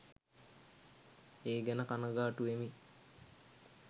ඒ ගැන කණගාටුවෙමි.